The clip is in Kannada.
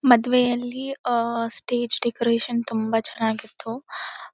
ಮದ್ವೆಯಲ್ಲಿ ಆಹ್ಹ್ ಸ್ಟೇಜ್ ಡೆಕೋರೇಷನ್ ತುಂಬಾ ಚೆನ್ನಾಗಿತ್ತು .